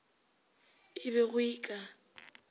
e be go e ka